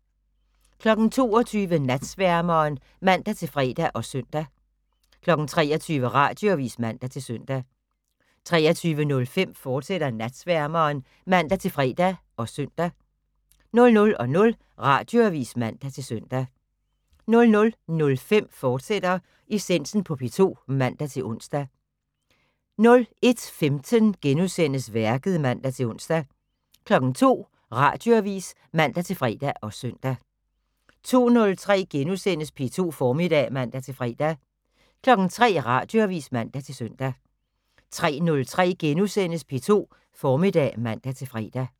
22:00: Natsværmeren (man-fre og søn) 23:00: Radioavis (man-søn) 23:05: Natsværmeren, fortsat (man-fre og søn) 00:00: Radioavis (man-søn) 00:05: Essensen på P2 *(man-ons) 01:15: Værket *(man-ons) 02:00: Radioavis (man-fre og søn) 02:03: P2 Formiddag *(man-fre) 03:00: Radioavis (man-søn) 03:03: P2 Formiddag *(man-fre)